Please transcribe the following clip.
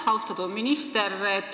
Aitäh, austatud minister!